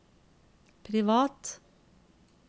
privat